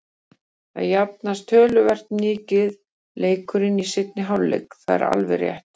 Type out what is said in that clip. Það jafnaðist töluvert mikið leikurinn í seinni hálfleik, það er alveg rétt.